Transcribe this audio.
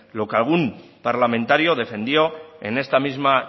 lo que algún parlamentario defendió en esta misma